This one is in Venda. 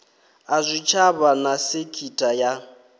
a zwitshavha na sekitha ya